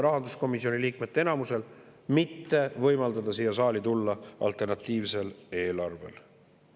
Rahanduskomisjoni liikmete enamuse vastus aga kõlas nii: mitte võimaldada siia saali tulla alternatiivsel eelarvel.